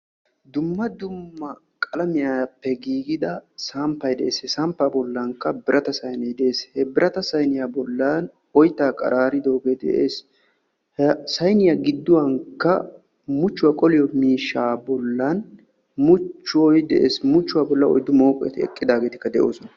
dumma dumma qalamiyaaapee giigida samppay de'ees he samppa bollankka birata sayinee de'ees; birata sayiniyaa bollan oyttay qararidooge de'ees; he sayiniyaa gidduwaan muchchuwaa qolliyoo miishsha bollan muchchoy de'ees; muchchuwaa bollan oyddu mooqqeti eqqidaageeti de'oosona.